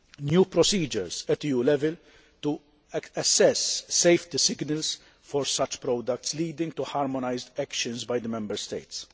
new procedures at EU level to assess safety signals for such products, leading to harmonised actions by the Member States.